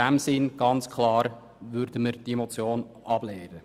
In diesem Sinn lehnen wir diese Motion ganz klar.